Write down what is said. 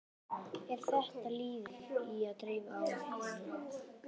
Er þetta liður í að dreifa áhættunni?